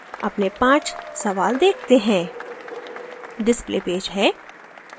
अपने 5 सवाल देखते हैं display पेज है